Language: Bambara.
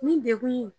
Ni degun